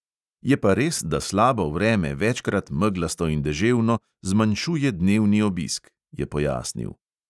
"Je pa res, da slabo vreme, večkrat meglasto in deževno, zmanjšuje dnevni obisk," je pojasnil.